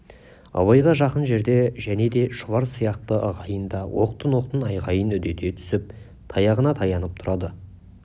абайға жақын жерде және де шұбар сияқты ағайын да оқтын-оқтын айғайын үдете түсіп таяғына таянып тұрады